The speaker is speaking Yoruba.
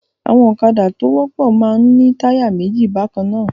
Àwọn ọ̀kadá tó wọ́pọ̀ máa ń ní táyà méjì bákan náà.